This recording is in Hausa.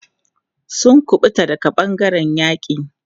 Sun ƙubuta daga ɓangaren yaƙi.